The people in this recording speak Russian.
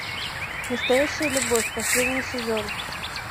настоящая любовь последний сезон